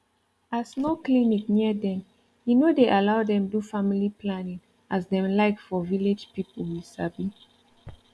as no clinic near dem e no dey allow dem do family planning as dem like for village people you sabi